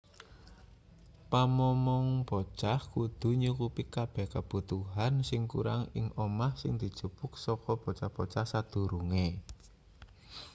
pamomong bocah kudu nyukupi kabeh kabutuhan sing kurang ing omah sing dijupuk saka bocah-bocah sadurunge